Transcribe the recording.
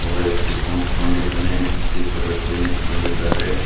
ಒಬ್ಬ ವ್ಯಕ್ತಿ ಕುಂತ್ಕೊಂಡಿದ್ದಾನೆ ಇಬ್ಬರೂ ವ್ಯಕ್ತಿ ನಿಂತ್ಕೊಂಡಿದ್ದಾರೆ.